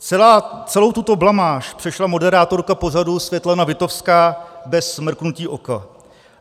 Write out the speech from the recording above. Celou tuto blamáž přešla moderátorka pořadu Světlana Witowská bez mrknutí oka.